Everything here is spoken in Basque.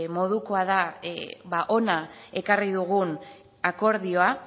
modukoa da hona ekarri dugun akordioa